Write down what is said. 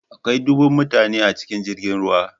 Akwai dubban mutane a cikin jirgin ruwa.